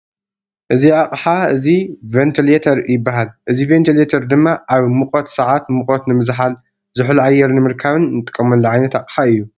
እዚ ኣቅሓ እዚ ቨንትሌተር ይባሃል። እዚ ቨንትሌተር ድማ ኣብ ሙቀት ሰዓት ሙቀት ንምዝሓል ዙሑል ኣየር ንምርካብን እንጥቀመሉ ዓይነት ኣቅሓ እዩ ።